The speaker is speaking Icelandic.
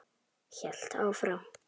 Hélt áfram.